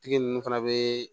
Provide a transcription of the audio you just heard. Tigi ninnu fana bɛ